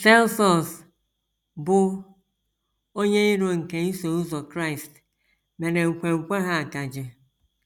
Celsus, bụ́ onye iro nke Iso Ụzọ Kraịst, mere nkwenkwe ha akaje.